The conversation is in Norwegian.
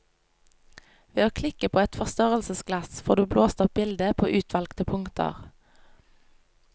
Ved å klikke på et forstørrelsesglass får du blåst opp bildet på utvalgte punkter.